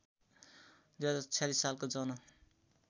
२०४६ सालको जन